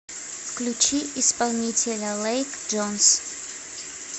включи исполнителя лэйк джонс